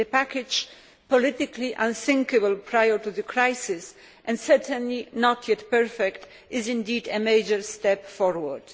The package politically unthinkable prior to the crisis and certainly not yet perfect is indeed a major step forward.